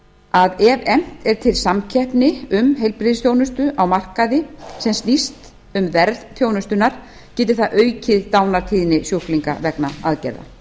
að ef efnt er til samkeppni um heilbrigðisþjónustu á markaði sem snýst um verð þjónustunnar geti það aukið dánartíðni sjúklinga vegna aðgerða